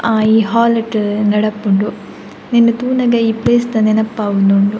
ಅಹ್ ಈ ಹಾಲ್ಡ್ ನಡಪುಂಡು ಉಂದೆನ್ ತೂನಗ ಈ ಪ್ಲೇಸ್ದ ನೆನಪಾವೊಂದುಂಡು.